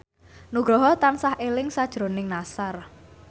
Nugroho tansah eling sakjroning Nassar